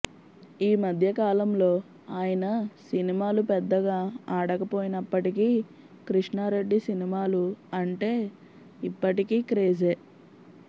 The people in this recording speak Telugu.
ఈ మధ్యకాలంలో ఆయన సినిమాలు పెద్దగా ఆడకపోయినప్పటికీ కృష్ణారెడ్డి సినిమాలు అంటే ఇప్పటికీ క్రేజే